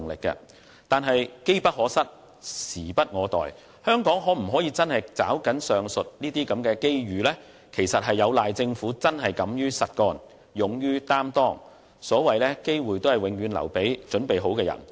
然而，機不可失，時不我待，香港能否真正抓緊上述機遇，實在有賴政府敢於實幹，勇於擔當，"機會只會留給有準備的人"。